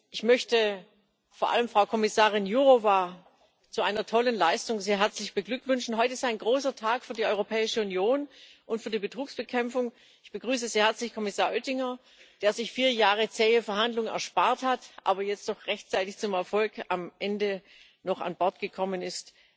Ich möchte vor allem Frau Kommissarin Jourová zu einer tollen Leistung sehr herzlich beglückwünschen. Heute ist ein großer Tag für die Europäische Union und für die Betrugsbekämpfung. Ich begrüße sehr herzlich Kommissar Oettinger, der sich vier Jahre zähe Verhandlungen erspart hat, aber jetzt doch rechtzeitig zum Erfolg am Ende noch an Bord gekommen ist.